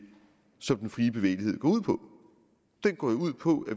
som den frie bevægelighed går ud på den går jo ud på at